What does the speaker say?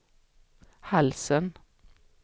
halsen